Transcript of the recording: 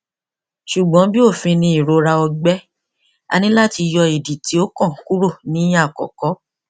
ṣugbọn bi ofin ni irora ọgbẹ a nilo lati yọ idi ti okan kuro ni akọkọ